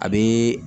A bɛ